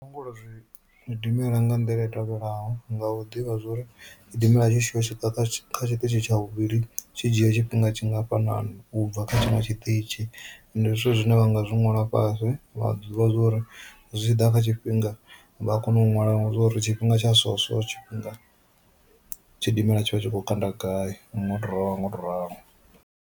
Langula zwi zwidimela nga nḓila i tevhelaho nga u ḓivha zwa uri tshidimela tshi tshi ya u swika kha tshiṱitshi tsha vhuvhili tshi dzhia tshifhinga tshingafhanani ubva kha tshinwe tshiṱitzhi, ndi zwithu zwine vha nga zwi ṅwala fhasi vha ḓivha zwori zwi tshi ḓa kha tshifhinga vha a kona u ṅwala zwori tshifhinga tsha so so tshifhinga tshidimela tshi vha tshi kho kanda gai ngoto ralo ngoto ralo.